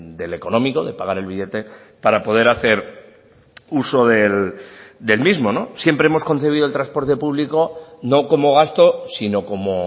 del económico de pagar el billete para poder hacer uso del mismo siempre hemos concebido el transporte público no como gasto sino como